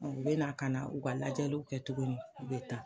u bɛna ka na u ka lajɛliw kɛ tuguni u bɛ taa.